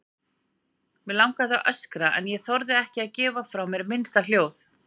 Mig langaði að öskra en þorði ekki að gefa frá mér minnsta hljóð.